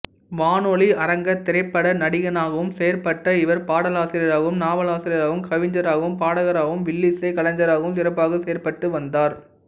வானொலி அரங்க திரைப்பட நடிகனாகவும் செயற்பட்ட இவர் பாடலாசிரியராகவும் நாவலாசிரியராகவும் கவிஞராகவும் பாடகராகவும் வில்லிசைக் கலைஞராகவும் சிறப்பாக செயற்பட்டு வந்தார்